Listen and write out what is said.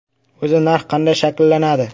O‘zi narx qanday shakllanadi?